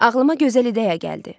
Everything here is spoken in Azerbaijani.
Ağlıma gözəl ideya gəldi.